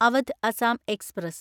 Awadh Assam express